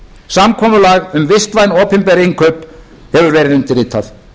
samkomulag um vistvæn opinber innkaup hefur verið undirritað